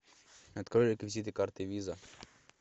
открой реквизиты карты виза